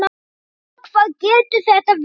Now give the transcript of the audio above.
Lóa: Hvað getur þetta verið?